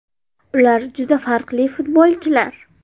Ular juda farqli futbolchilar.